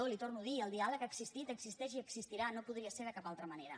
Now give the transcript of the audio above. li ho torno a dir el diàleg ha existit existeix i existirà no podria ser de cap altra manera